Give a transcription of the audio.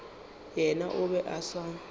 yena o be a sa